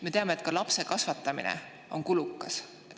Me teame, et lapse kasvatamine on kulukas.